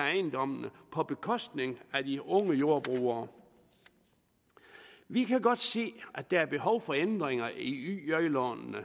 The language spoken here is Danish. ejendommene på bekostning af de unge jordbrugere vi kan godt se at der er behov for ændringer i yj lånene